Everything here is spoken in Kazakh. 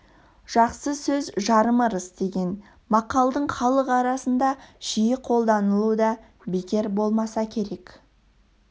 жақсы сөз жарым ырыс деген мақалдың халық арасында жиі қолданылуы да бекер болмаса керек